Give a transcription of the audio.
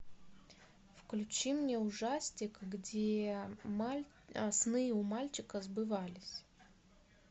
включи мне ужастик где сны у мальчика сбывались